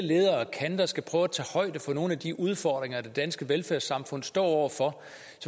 leder og kanter skal prøve at tage højde for nogle af de udfordringer det danske velfærdssamfund står over for